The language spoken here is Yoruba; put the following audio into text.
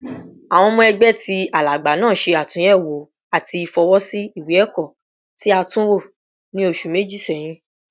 Awọn ọmọ ẹgbẹ ti Alagba naa ṣe atunyẹwo ati fọwọsi iwe-ẹkọ ti a tunwo ni oṣu meji sẹhin